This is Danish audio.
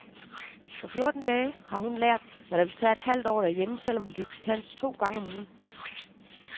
På fjorten dage har hun lært, hvad der ville tage et halvt år derhjemme selv om hun gik til dans to gange om ugen.